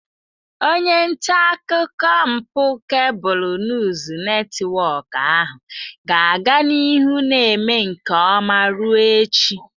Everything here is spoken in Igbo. Onye nta akụkọ mpụ Kebụl Nuus Netiwọk ahụ ga-aga n'ihu na-eme nke ọma ruo echi.